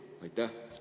Aitäh!